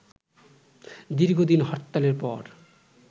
দীর্ঘ দিন হরতালের পর